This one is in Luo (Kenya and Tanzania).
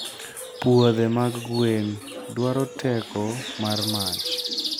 Puothe mag gwen dwaro teko mar mach.